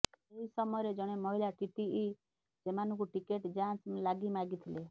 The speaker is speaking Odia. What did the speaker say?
ଏହି ସମୟରେ ଜଣେ ମହିଳା ଟିଟିଇ ସେମାନଙ୍କୁ ଟିକେଟ ଯାଞ୍ଚ ଲାଗି ମାଗିଥିଲେ